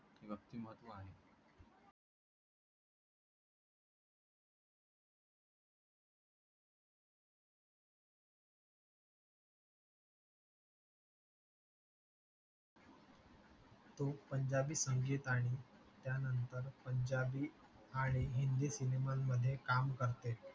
पंजाबी संगीत आणि त्यानंतर पंजाबी आणि हिंदी सिनेमामध्ये काम करते